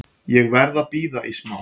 Ég verð að bíða í smá.